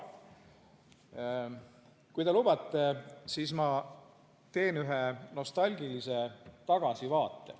Kui te lubate, siis ma teen ühe nostalgilise tagasivaate.